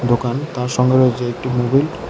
দোকান তার সঙ্গে রয়েছে একটি মোবিল ।